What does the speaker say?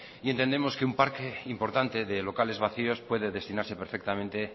y entendemos que un parque importante de locales vacíos puede destinarse perfectamente